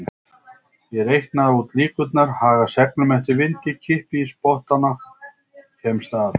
Ég reikna út líkurnar, haga seglum eftir vindi, kippi í spottana, kemst af.